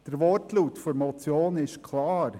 Der Wortlaut der Motion ist klar: